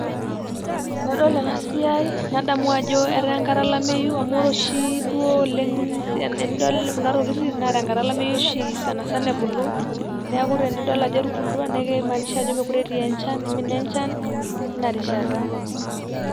Tenadol ena siai nadamu ajo eta enkata olameyu amu ore oshi duo oleng tedinol kuna tokitin na tenkata olameyu oshi sana sana ebulu niaku tenidol ajo etubulutua naa kimaanisha ajo mokire eti enchan imina enchan tina rishata.